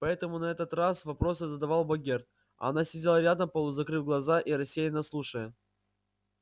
поэтому на этот раз вопросы задавал богерт а она сидела рядом полузакрыв глаза и рассеянно слушая